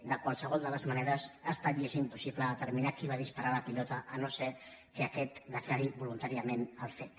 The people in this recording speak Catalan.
de qualsevol de les maneres ha estat i és impossible determinar qui va disparar la pilota si no és que aquest declara voluntàriament el fet